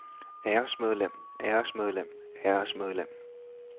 æresmedlem æresmedlem æresmedlem